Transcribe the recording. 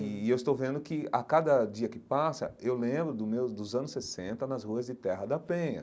E eu estou vendo que a cada dia que passa, eu lembro do meu dos anos sessenta nas ruas de Terra da Penha.